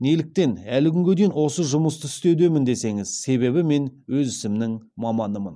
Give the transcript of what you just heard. неліктен әлі күнге дейін осы жұмысты істеудемін десеңіз себебі мен өз ісімнің маманымын